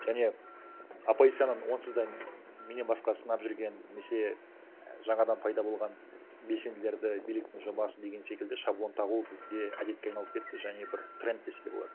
және оппозицияны онсыз да менен басқа сынап жүрген немесе жаңадан пайда болған белсенділерді биліктің жобасы деген секілді шаблон тағу бізде әдетке айналып кетті және бір тренд десе де болады